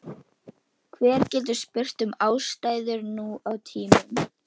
Hver getur spurt um ástæður nú á tímum?